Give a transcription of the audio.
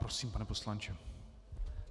Prosím, pane poslanče.